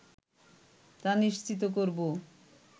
তা নিশ্চিত করবো